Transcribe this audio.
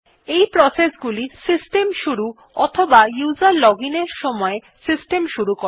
এই প্রসেস গুলি সিস্টেম শুরু অথবা উসের লজিন এর সময় সিস্টেম শুরু করে